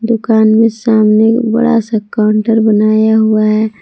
दुकान में सामने बड़ा सा काउंटर बनाया हुआ है।